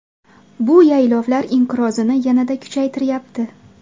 Bu yaylovlar inqirozini yanada kuchaytiryapti.